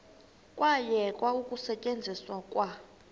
kwayekwa ukusetyenzwa kwa